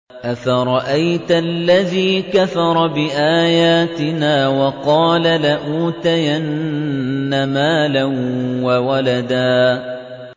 أَفَرَأَيْتَ الَّذِي كَفَرَ بِآيَاتِنَا وَقَالَ لَأُوتَيَنَّ مَالًا وَوَلَدًا